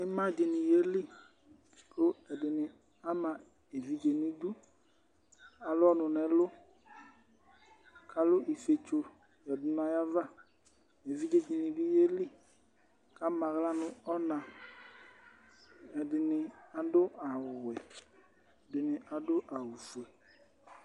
Ɩma dɩnɩ yeli kʋ ɛdɩnɩ ama evidze nʋ idu, alʋ ɔnʋ nʋ ɛlʋ kʋ alʋ ifietso yǝdu nʋ ayava Evidze dɩnɩ bɩ yeli kʋ ama aɣla nʋ ɔna Ɛdɩnɩ adʋ awʋwɛ, ɛdɩnɩ adʋ awʋfue